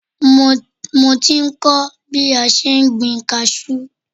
Mo ti ń kọ́ bí a ṣe ń gbin kaṣú